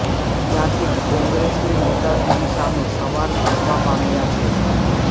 ત્યારથી કોંગ્રેસની નેતાગીરી સામે સવાલ ઉઠવા પામ્યા છે